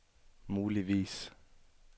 muligvis